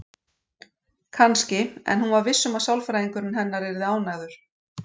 Kannski, en hún var viss um að sálfræðingurinn hennar yrði ánægður.